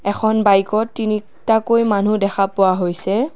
এখন বাইকত তিনি টাকৈ মানু্হ দেখা পোৱা হৈছে।